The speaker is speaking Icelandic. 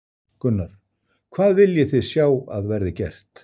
Gunnar: Hvað viljið þið sjá að verði gert?